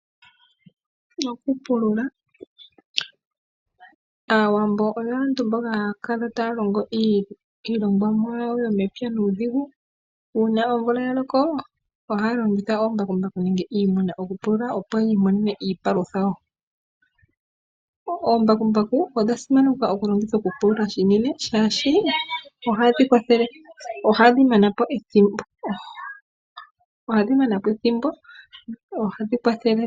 Okupulula Aawambo oyo aantu mboka haya kala taya longo iilongomwa yawo yomepya nuudhigu. Uuna omvula ya loko ohaya longitha oomabkumbaku nenge iimuna okupulula, opo yi imonene iipalutha yawo. Oombakumbaku odha simanekwa okulongithwa okupulula shinene, shaashi ohadhi kwathele, ohadhi mana po ethimbo. Ohadhi kwathele.